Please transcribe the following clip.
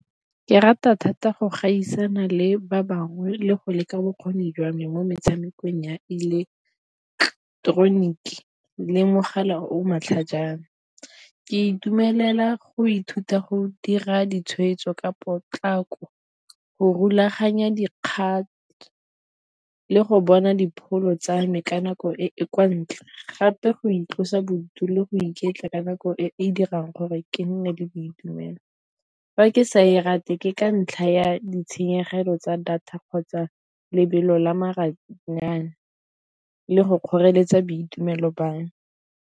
Ke rata thata go gaisana le ba bangwe le go leka bokgoni jwa me mo metshamekong ya ileketoroniki le mogala o matlhajana. Ke itumelela go ithuta go dira ditshwetso ka potlako, go rulaganya dikgato le go bona dipholo tsa me ka nako e e kwa ntle gape go itlosa bodutu le go iketla ka nako e e dirang gore ke nne le boitumelo. Fa ke sa e rate ke ka ntlha ya ditshenyegelo tsa data kgotsa lebelo la maranyane le go kgoreletsa boitumelo jwa me.